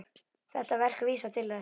Þetta verk vísar til þess.